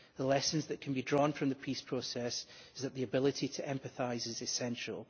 The lesson that can be drawn from the peace process is that the ability to empathise is essential.